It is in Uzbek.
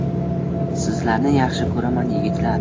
Sizlarni yaxshi ko‘raman, yigitlar.